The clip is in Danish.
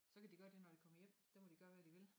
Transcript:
Så kan de gøre det når de kommer hjem der må de gøre hvad de vil